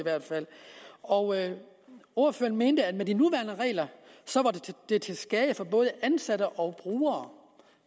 og ordføreren mente at de nuværende regler var til skade for både ansatte og brugere